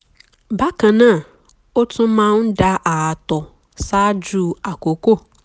bákan náà ó tún máa ń da ààtọ̀ ṣáájú àkókò